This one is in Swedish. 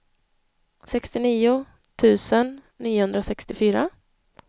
sextionio tusen niohundrasextiofyra